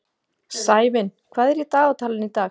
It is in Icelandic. Sævin, hvað er í dagatalinu í dag?